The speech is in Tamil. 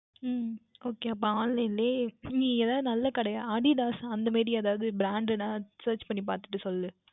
உம் Okay அப்பொழுது Online லயே நீ எதாவுது நன்றான கடையாக அதுதான் அந்த மாதிரி எதாவுது Brand டாக Search பண்ணி பார்த்துவிட்டு சொல்